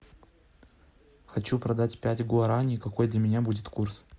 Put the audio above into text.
хочу продать пять гуарани какой для меня будет курс